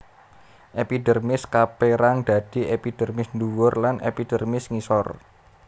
Epidermis kapérang dadi epidermis ndhuwur lan epidermis ngisor